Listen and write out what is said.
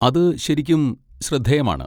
അത് ശരിക്കും ശ്രദ്ധേയമാണ്.